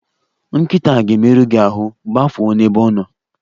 Nkịta a ga-emerụ gi ahụ, gbafuo n'ebe ọ nọ!